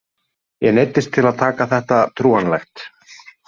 Ég neyddist til að taka þetta trúanlegt.